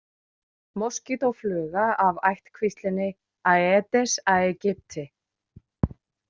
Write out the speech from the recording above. Moskítófluga af ættkvíslinni Aedes aegypti.